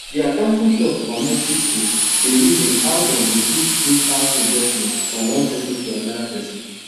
d accounting club for community school dey reason how dem go fit do house investment from one persin to anoda persin